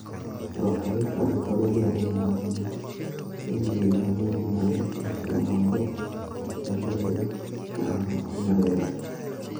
Propulica nepod omedo yanyo ni nyiri mangeny mane Johnson obambo ne bende ogamo tuo mar ayaki.